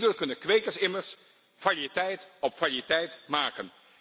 Hierdoor kunnen kwekers immers variëteit op variëteit maken.